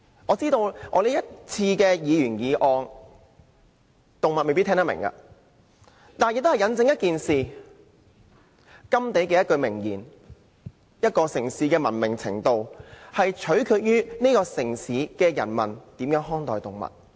我知道我提出是項議員議案，動物未必聽得懂，但也印證了甘地的一句明言："一個城市的文明程度，取決於城市的人民如何看待動物"。